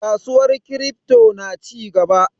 Kasuwar kiripto na cigaba.